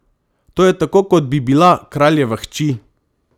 To je tako kot bi bila kraljeva hči!